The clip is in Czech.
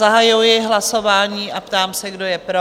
Zahajuji hlasování a ptám se, kdo je pro?